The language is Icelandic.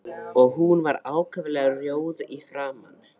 Og hún var ákaflega rjóð í framan.